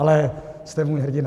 Ale jste můj hrdina.